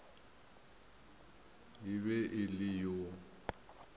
e be e le yo